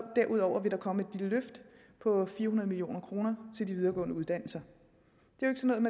derudover vil der komme et løft på fire hundrede million kroner til de videregående uddannelser